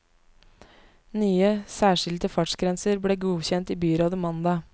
Nye, særskilte fartsgrenser ble godkjent i byrådet mandag.